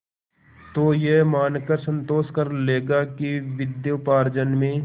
तो यह मानकर संतोष कर लेगा कि विद्योपार्जन में